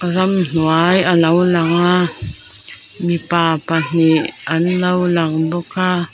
ramhnuai alo lang a mipa pahnih anlo langbawk a--